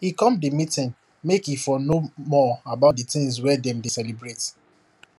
he come the meeting make e for know more about the things wey dem dey celebrate